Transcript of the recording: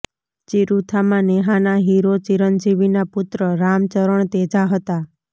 ચિરુથામાં નેહાના હીરો ચિરંજીવીના પુત્ર રામ ચરણ તેજા હતાં